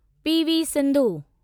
P. V. Sindhu